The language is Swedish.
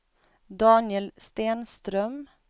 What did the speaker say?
Daniel Stenström